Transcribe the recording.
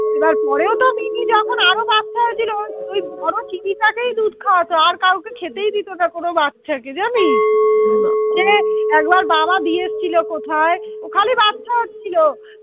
এবার পরেও তো মিনি যখন আরো বাচ্চা হয়েছিল ওই ওই বড় চিনিটাকেই দুধ খাওয়াতো আর কাউকে খেতেই দিত না কোন বাচ্চাকে জানিস হম বাবা সে একবার বাবা দিয়ে এসেছিল কোথায়? ওর খালি বাচ্চা হচ্ছিল